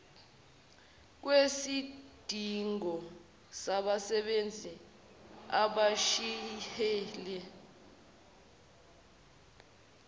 kwesidingo sabasebenzi abashibhile